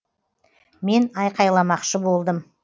мен айқайламақшы болдым